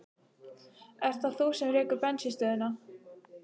Ert það þú sem rekur bensínstöðina?